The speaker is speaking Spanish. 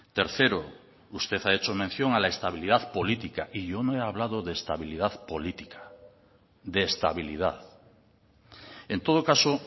tercero usted ha hecho mención a la estabilidad política y yo no he hablado de estabilidad política de estabilidad en todo caso